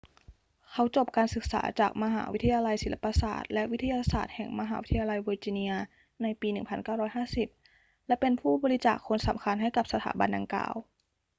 เขาจบการศึกษาจากวิทยาลับศิลปศาสตร์และวิทยาศาตร์แห่งมหาวิทยาลัยเวอร์จิเนียในปี 1950 และเป็นผู้บริจาคคนสำคัญให้กับสถาบันดังกล่าว